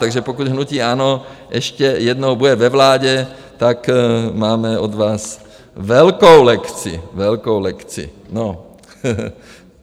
Takže pokud hnutí ANO ještě jednou bude ve vládě, tak máme od vás velkou lekci, velkou lekci, no.